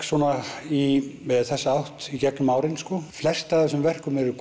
svona í þessa átt í gegnum árin flest af þessum verkum eru